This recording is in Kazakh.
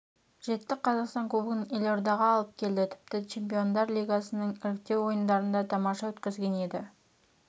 жетті қазақстан кубогын елордаға алып келді тіпті чемпиондар лигасының іріктеу ойындарын да тамаша өткізген еді